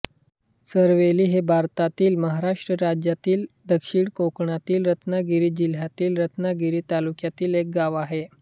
चरवेली हे भारतातील महाराष्ट्र राज्यातील दक्षिण कोकणातील रत्नागिरी जिल्ह्यातील रत्नागिरी तालुक्यातील एक गाव आहे